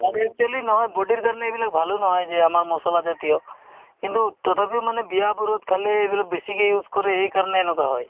আৰু actually নহয় body ৰ কাৰণে এইবিলাক ভালো নহয় যে আমাৰ মছলা জাতীয় কিন্তু তথাপিও মানে বিয়া-বাৰুত খালে এইবিলাক বেছিকে use কৰে সেইকাৰণে এনেকুৱা হয়